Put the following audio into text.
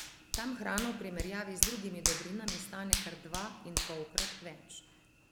Tam hrana v primerjavi z drugimi dobrinami stane kar dva in polkrat več.